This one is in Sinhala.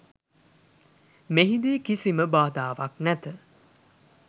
මෙහිදී කිසිම බාධාවක් නැත.